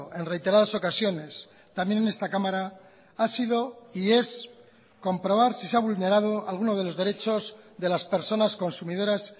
en reiteradas ocasiones también en esta cámara ha sido y es comprobar si se ha vulnerado alguno de los derechos de las personas consumidoras